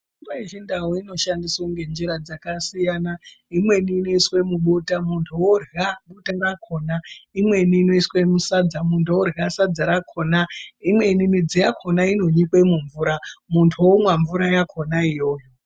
Mitombo yechindau inoshandiswa ngenjira dzakasiyana imweni inoiswe mubota muntu orya bota rakona. Imweni inoiswe musadza muntu orya sadza rakona, imweni midzi yakona inonyikwa mumvura muntu vomwa mvura yakona iyoyo.